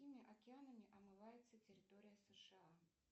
какими океанами омывается территория сша